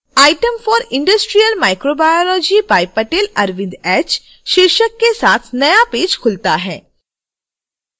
items for industrial microbiology by patel arvind h शीर्षक के साथ नया पेज खुलता है